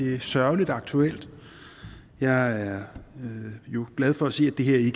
det er sørgeligt aktuelt jeg er jo glad for at sige at det her ikke